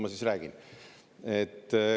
Ma siis räägin.